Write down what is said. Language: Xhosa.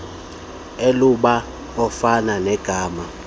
elubala ofana negama